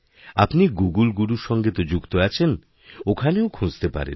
আপনি গুগুল গুরুরসঙ্গে তো যুক্ত আছেন ওখানেও খুঁজতে পারেন